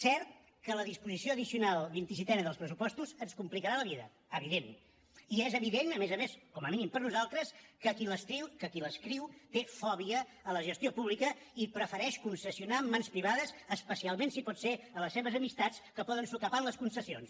cert que la disposició addicional vint i setena dels pressupostos ens complicarà la vida evident i és evident a més a més com a mínim per nosaltres que qui l’escriu té fòbia a la gestió pública i prefereix concessionar en mans privades especialment si pot ser a les seves amistats que poden sucar pa en les concessions